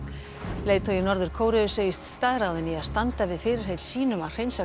leiðtogi Norður Kóreu segist staðráðinn í að standa við fyrirheit sín um að hreinsa